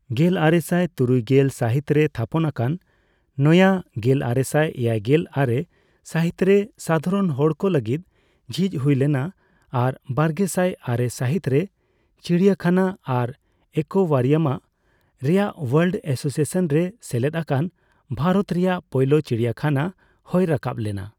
ᱜᱮᱞᱟᱨᱮᱥᱟᱭ ᱛᱩᱨᱩᱭᱜᱮᱞ ᱥᱟᱹᱦᱤᱛ ᱨᱮ ᱛᱷᱟᱯᱚᱱᱟᱠᱟᱱ, ᱱᱚᱭᱟᱹ ᱜᱮᱞᱟᱨᱮᱥᱟᱭ ᱮᱭᱟᱭᱜᱮᱞ ᱟᱨᱮ ᱥᱟᱹᱦᱤᱛ ᱨᱮ ᱥᱟᱫᱷᱟᱨᱚᱱ ᱦᱚᱲᱠᱚ ᱞᱟᱹᱜᱤᱫ ᱡᱷᱤᱪ ᱦᱩᱭ ᱞᱮᱱᱟ ᱟᱨ ᱵᱟᱨᱜᱮᱥᱟᱭ ᱟᱨᱮ ᱥᱟᱹᱦᱤᱛ ᱨᱮ ᱪᱤᱲᱤᱭᱟᱹᱠᱷᱟᱱᱟ ᱟᱨ ᱮᱠᱳᱣᱟᱨᱤᱭᱟᱢᱟᱜ ᱨᱮᱭᱟᱜ ᱳᱣᱟᱨᱞᱰ ᱮᱥᱳᱥᱤᱭᱮᱥᱚᱱ ᱨᱮ ᱥᱮᱞᱮᱫ ᱟᱠᱟᱱ ᱵᱷᱟᱨᱚᱛ ᱨᱮᱭᱟᱜ ᱯᱳᱭᱞᱳ ᱪᱤᱲᱤᱭᱟᱹᱠᱷᱟᱱᱟ ᱦᱳᱭ ᱨᱟᱠᱟᱵᱽ ᱞᱮᱱᱟ ᱾